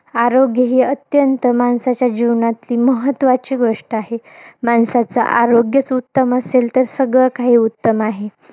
आरोग्यही अत्यंत, माणसाच्या जीवनातली महत्वाची गोष्ट आहे. माणसाचं आरोग्यच उत्तम असेल तर, सगळं काही उत्तम आहे.